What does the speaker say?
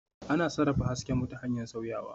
Ana sarrafa hasken mu ta hanyar sauyawa